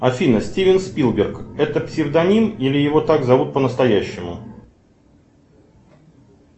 афина стивен спилберг это псевдоним или его так зовут по настоящему